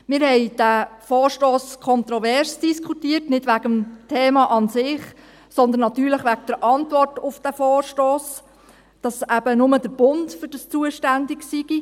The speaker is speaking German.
Wir haben diesen Vorstoss kontrovers diskutiert, nicht wegen des Themas an sich, sondern natürlich wegen der Antwort auf den Vorstoss, dass eben nur der Bund dafür zuständig sei.